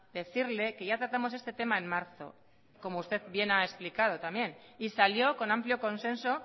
decirle que ya tratamos este tema en marzo como usted bien ha explicado también y salió con amplio consenso